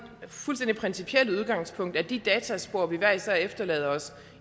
fuldstændig principielle udgangspunkt at de dataspor vi hver især efterlader os